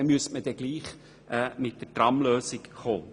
Danach müsste man gleichwohl die Tramlösung realisieren.